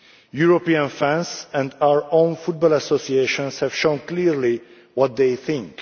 European fans and our own football associations have shown clearly what they think.